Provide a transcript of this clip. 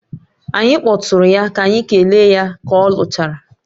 Anyị kpọtụụrụ ya ka anyị kelee ya ka ọ lụchara